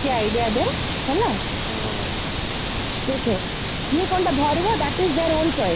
ତାହେଲେ ଏମିତି idea ଦେ ହେଲା , ଦେଖେ କିଏ କଣଟା ଧରିବ that is there own choice